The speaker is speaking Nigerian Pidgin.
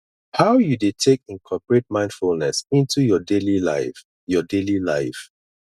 how you dey take incorporate mindfulness into your daily life your daily life